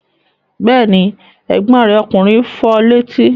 Bẹ́ẹ̀ ni, ẹ̀gbọ́n rẹ̀ ọkùnrin fọ létí.